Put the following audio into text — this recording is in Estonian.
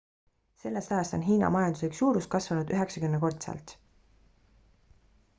sellest ajast on hiina majanduslik suurus kasvanud 90-kordselt